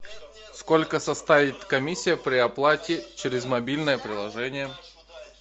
сколько составит комиссия при оплате через мобильное приложение